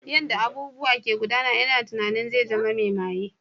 Yanda abubuwa ke gudana ina tunanin zai zama mai maye.